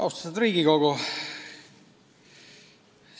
Austatud Riigikogu!